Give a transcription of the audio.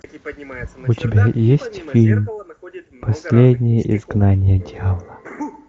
у тебя есть фильм последнее изгнание дьявола